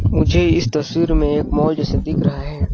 मुझे इस तस्वीर में एक मॉल जैसा दिख रहा हैं।